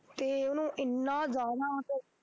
ਤੇ ਉਹਨੂੰ ਇੰਨਾ ਜ਼ਿਆਦਾ ਉਹ